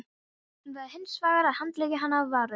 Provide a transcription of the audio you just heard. Hann varð hinsvegar að handleika hana af varúð.